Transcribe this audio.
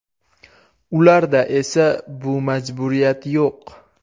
Ularda esa bu majburiyat yo‘q.